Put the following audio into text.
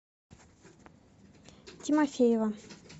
тимофеева